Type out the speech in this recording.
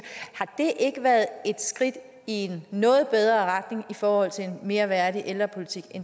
har det ikke været et skridt i en noget bedre retning i forhold til en mere værdig ældrepolitik